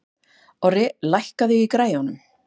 Orri, lækkaðu í græjunum.